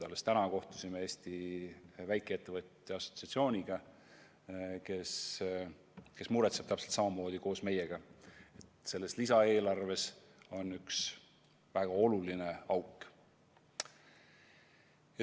Alles täna kohtusime Eesti väikeettevõtjate assotsiatsiooniga, kes muretseb täpselt samamoodi koos meiega, et selles lisaeelarves on üks väga oluline auk.